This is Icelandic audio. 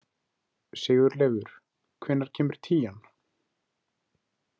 Sigurleifur, hvenær kemur tían?